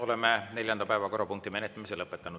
Oleme neljanda päevakorrapunkti menetlemise lõpetanud.